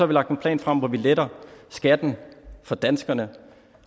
vi lagt en plan frem hvor vi letter skatten for danskerne